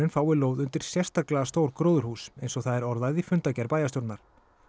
fái lóð undir sérstaklega stórt gróðurhús eins og það er orðað í fundagerð bæjarstjórnar